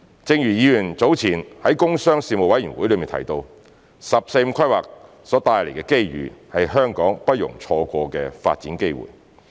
正如議員早前在工商事務委員會中提到，"十四五"規劃所帶來的機遇是香港不容錯過的發展機會。